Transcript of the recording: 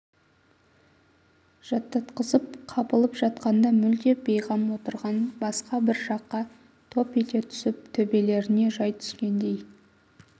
жаттатқызып қапылып жатқанда мүлдем бейғам отырған басқа бір жаққа топ ете түсіп төбелеріне жай түскендей